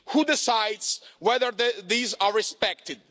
Who decides whether these are respected?